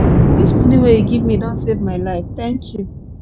dis moni wey you give me don save my life thank you